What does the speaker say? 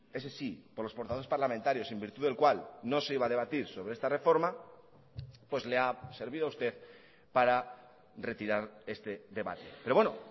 ese sí por los portavoces parlamentarios en virtud del cual no se iba a debatir sobre esta reforma pues le ha servido a usted para retirar este debate pero bueno